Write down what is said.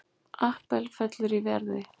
Apple fellur í verði